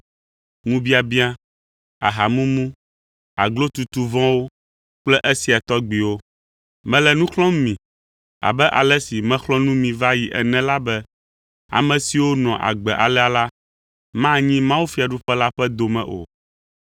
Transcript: ŋubiabiã, ahamumu, aglotutu vɔ̃wo kple esia tɔgbiwo. Mele nu xlɔ̃m mi, abe ale si mexlɔ̃ nu mi va yi ene la be ame siwo nɔa agbe alea la, manyi mawufiaɖuƒe la ƒe dome o.